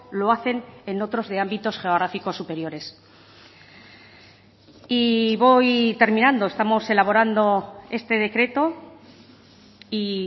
lo hacen en otros de ámbitos geográficos superiores y voy terminando estamos elaborando este decreto y